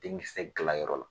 Denkisɛ dilan yɔrɔ la.